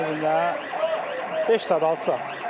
Gün ərzində beş saat, altı saat.